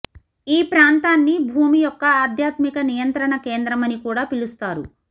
ఈ ప్రాంతాన్ని భూమి యెక్క ఆధ్యాత్మిక నియంత్రణ కేంద్రమని కూడా పిలుస్తారు